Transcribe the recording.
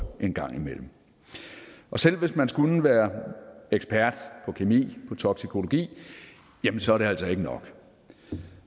en gang imellem og selv hvis man skulle være ekspert på kemi på toksikologi så er det altså ikke nok